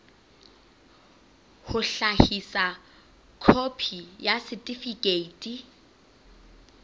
ho hlahisa khopi ya setifikeiti